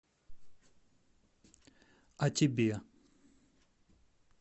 а тебе